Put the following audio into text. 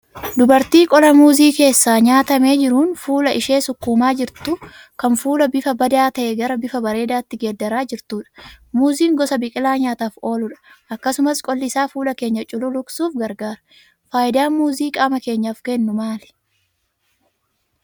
Dubartii qola Muuzii keessaa nyaatamee jiruun fuula ishee sukkuumaa jirtu, kan fuula bifa badaa ta'e gara bifa bareedaatti geeddaraa jirtudha. Muuziin gosa biqilaa nyaataaf ooludha, akkasumas qolli isaa fuula keenya cululuqsuuf gargaara. Faayidaan muuziin qaama keenyaaf kennu maali?